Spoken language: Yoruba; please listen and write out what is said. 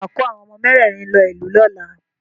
Ṣé wà á kó àwọn ọmọ mẹ́rẹ̀rin lọ ìlú lọ́la?